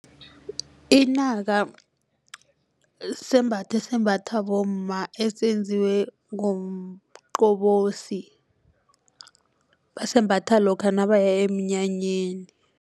Inaka sembatho esimbathwa bomma esenziwe ngomqobosi basembatha lokha nabaya emnyanyeni.